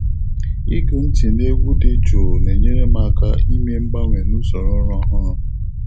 Ịgụ ntị n’egwu dị jụụ na-enyere m aka ime mgbanwe na usoro ụra ọhụrụ.